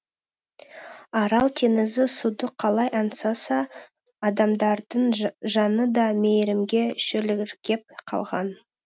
арал теңізі суды қалай аңсаса адамдардың жаны да мейірімге шөліркеп қалған